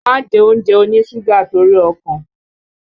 Má jẹ oúnjẹ oníṣúgà torí ọkàn!